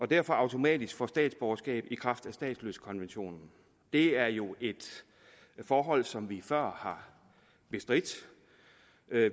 og derfor automatisk får statsborgerskab i kraft af statsløsekonventionen det er jo et forhold som vi før har bestridt